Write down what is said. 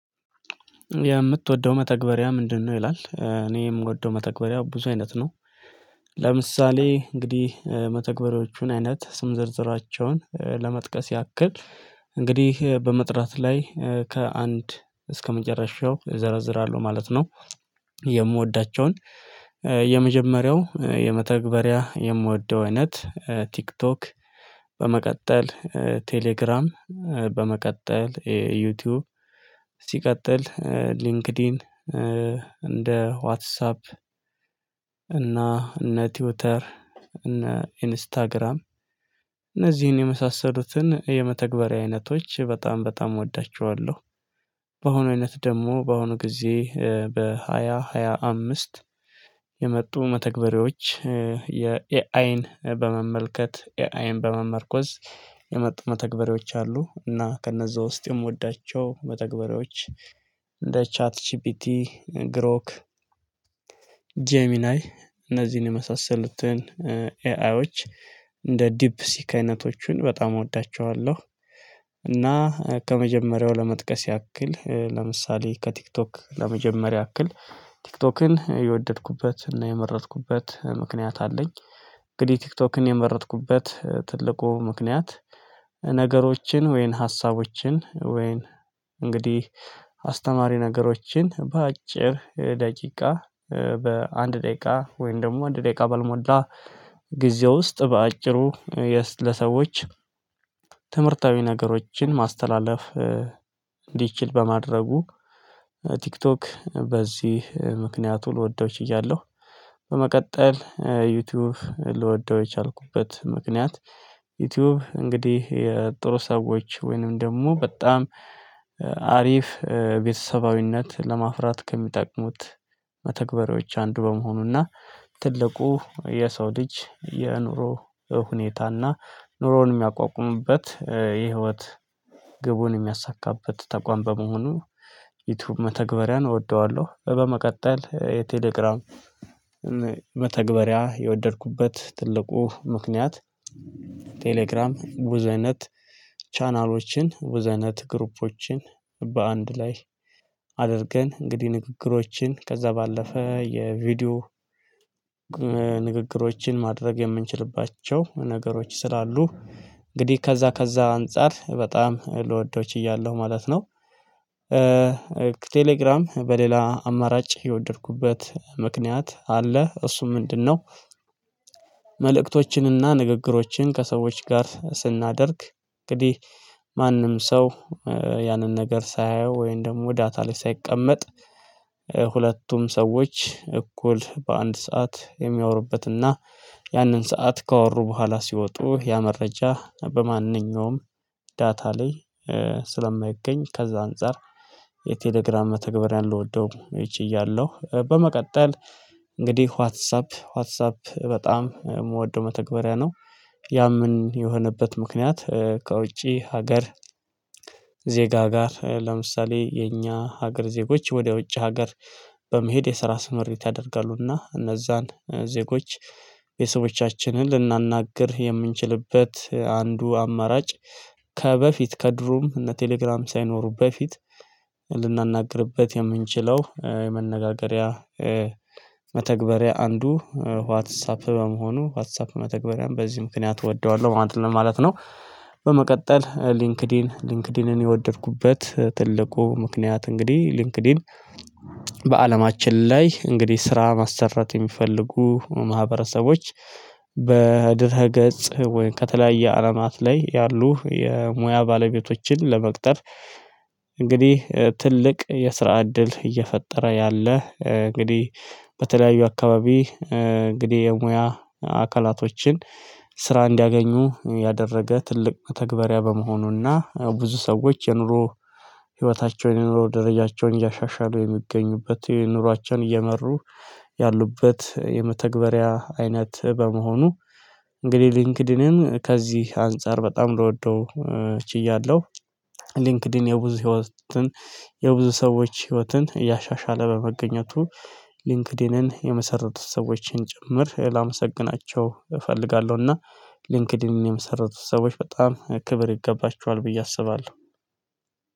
የምትወደው መተግበሪያ ምንድነው? ይላል እኔ የምወደው መተግበሪያ ብዙ አይነት ነው። ለምሳሌ እንግዲህ መተግበሪያዎቹን አይነት ስም ዝርዝራቸውን ለመጥቀስ ያክል እንግዲህ በመጥራት ላይ ከአንድ እስከመጨረሻው እዘረዝራለሁ ማለት ነው። የምወዳቸውን የመጀመሪያው የመተግበሪያ የምወደው አይነት ቲክቶክ በመቀጠል ቴሌግራም በመቀጠል ዩቲዩብ ሲቀጥል ሊንክድኢን እንደ ዋትሳፕ እና እነ ትዊተር እና ኢንስታግራም እነዚህን የመሳሰሩትን የመተግበሪያ አይነቶች በጣም በጣም እወዳቸዋለሁ። በአሁኑ አይነት ደግሞ በአሁኑ ጊዜ በሃያ ሃያ አምስት የመጡ መተግበሪያዎች የኤአይን በመመልከት ኤአይን በመመርኮዝ የመጡ መተግበሬዎች አሉ። እና ከነዛ ውስጥ የምወዳቸው መተግበሬዎች እንደ ቻት ጂፒቲ ግሮክ ጄሚናይ እነዚህን የመሳሰሉትን ኤአይዎች እንደ ዲፕ ሲክ አይነቶቹን በጣም እወዳቸዋለሁ። እና ከመጀመሪያው ለመጥቀስ ያክል ለምሳሌ ከቲክቶክ ለመጀመሪያ ያክል ቲክቶክን የወደድኩበት እና የመረጥኩበት ምክንያት አለኝ። እንግዲህ ቲክቶክን የመረጥኩበት ትልቁ ምክንያት ነገሮችን ወይን ሀሳቦችን ወይን እንግዲህ አስተማሪ ነገሮችን በአጭር ደቂቃ በአንድ ደቂቃ ወይም ደግሞ አንድ ደቂቃ ባልሞዳ ጊዜ ውስጥ በአጭሩ ለሰዎች ትምህርታዊ ነገሮችን ማስተላለፍ እንዲችል በማድረጉ ቲክቶክ በዚህ ምክንያቱ ልወደው ችያለሁ። በመቀጠል ዩቲዩብ ልወደው የቻልኩበት ምክንያት ዩቲዩብ እንግዲህ የጥሩ ሰዎች ወይንም ደግሞ በጣም አሪፍ ቤተሰባዊነት ለማፍራት ከሚጠቅሙት መተግበሪያዎች አንዱ በመሆኑና ትልቁ የሰው ልጅ የኑሮ ሁኔታና ኑሮውን የሚያቋቁሙበት የህይወት ግቡን የሚያሳካበት ተቋም በመሆኑ ዩቲዩብ መተግበሪያን እወደዋለሁ። በመቀጠል የቴሌግራም መተግበሪያ የወደድኩበት ትልቁ ምክንያት ቴሌግራም ብዙ አይነት ቻናሎችን ብዙ አይነት ግሩፖችን በአንድ ላይ አድርገን እንግዲህ ንግግሮችን ከዛ ባለፈ የቪዲዮ ንግግሮችን ማድረግ የምንችልባቸው ነገሮች ስላሉ እንግዲህ ከዛ ከዛ አንፃር በጣም ልወደው ችያለው ማለት ነው። ቴሌግራም በሌላ አማራጭ የወደድኩበት ምክንያት አለ እሱም ምንድነው? መልእክቶችንና ንግግሮችን ከሰዎች ጋር ስናደርግ እንግዲህ ማንም ሰው ያንን ነገር ሳያየው ወይም ደግሞ ዳታ ላይ ሳይቀመጥ ሁለቱም ሰዎች እኩል በአንድ ሰዓት የሚያወሩበትና ያንን ሰዓት ካወሩ በኋላ ሲወጡ ያ መረጃ በማንኛውም ዳታ ላይ ስለማይገኝ ከዛ አንፃር የቴሌግራም መተግበሪያን ልወደው ችያለሁ። በመቀጠል እንግዲህ ዋትሳፕ ዋትሳፕ በጣም የምወደው መተግበሪያ ነው። ያም የሆነበት ምክንያት ከውጪ ሀገር ዜጋ ጋር ለምሳሌ የኛ ሀገር ዜጎች ወደ ውጭ ሀገር በመሄድ የስራ ስምሪት ያደርጋሉና እነዛን ዜጎች የሰዎቻችንን ልናናግር የምንችልበት አንዱ አማራጭ ከበፊት ከድሩም እነ ቴሌግራም ሳይኖሩ በፊት ልናናግርበት የምንችለው የመነጋገሪያ መተግበሪያ አንዱ ዋትሳፕ በመሆኑ ዋትሳፕ መተግበሪያም በዚህ ምክንያት እወደዋለሁ ማለት ነው። በመቀጠል ሊንክድኢን ሊንክድኢንን የወደድኩበት ትልቁ ምክንያት እንግዲህ ሊንክድን በአለማችን ላይ እንግዲህ ስራ ማሰራት የሚፈልጉ ማህበረሰቦች በድህረ ገጽ ወይም ከተለያየ አላማት ላይ ያሉ የሙያ ባለቤቶችን ለመቅጠር እንግዲህ ትልቅ የስራ እድል እየፈጠረ ያለ እንግዲህ በተለያዩ አካባቢ እንግዲህ የሙያ አካላቶችን ስራ እንዲያገኙ ያደረገ ትልቅ መተግበሪያ በመሆኑና ብዙ ሰዎች የኑሮ ህይወታቸውን የኑሮ ደረጃቸውን እያሻሻሉ የሚገኙበት የኑሯችን እየመሩ ያሉበት የመተግበሪያ አይነት በመሆኑ እንግዲህ ሊንክድንን ከዚህ አንፃር በጣም ልወደው ችያለው። ሊንክድን የብዙ ህይወትን የብዙ ሰዎች ህይወትን እያሻሻለ በመገኘቱ ሊንክድንን የመሰረቱ ሰዎችን ጭምር ላመሰግናቸው እፈልጋለሁና ሊንክድንን የመሰረቱ ሰዎች በጣም ክብር ይገባቸዋል ብዬ አስባለሁ።